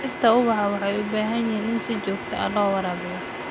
Dhirta ubaxa waxay u baahan yihiin in si joogto ah loo waraabiyo.